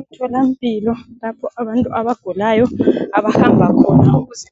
Emtholampilo lapho abantu abagulayo abahamba khona ukuze